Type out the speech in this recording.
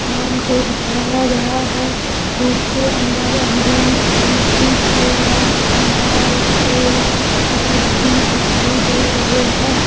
दुकान को दिखाया गया है के अंदर अमरुद चीकू केला अनार सेब इत्यादि दिखाई दे रहे हैं।